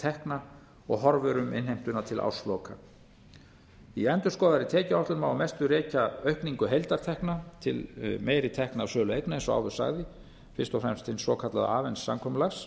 tekna og horfur um innheimtuna til ársloka í endurskoðaðri tekjuáætlun má að mestu rekja aukningu heildartekna til meiri tekna af sölu eigna eins og áður sagði fyrst og fremst vegna svokallaðs avens samkomulags